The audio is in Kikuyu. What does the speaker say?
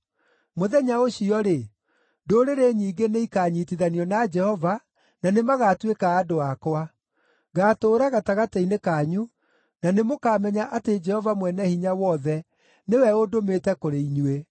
“Mũthenya ũcio-rĩ, ndũrĩrĩ nyingĩ nĩikanyiitithanio na Jehova, na nĩmagatuĩka andũ akwa. Ngaatũũra gatagatĩ-inĩ kanyu na nĩmũkamenya atĩ Jehova Mwene-Hinya-Wothe nĩwe ũndũmĩte kũrĩ inyuĩ.”